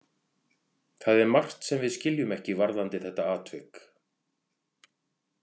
Það er margt sem við skiljum ekki varðandi þetta atvik.